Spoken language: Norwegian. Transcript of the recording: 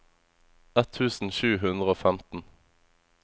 ett tusen sju hundre og femten